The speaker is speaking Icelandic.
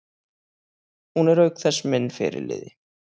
Hún er auk þess minn fyrirliði.